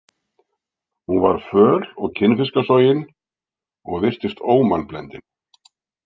Hún var föl og kinnfiskasogin og virtist ómannblendin.